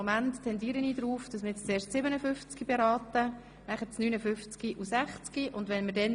Deshalb tendiere ich dazu, dass wir nun zuerst das Traktandum 57 beraten und danach 59 sowie 60.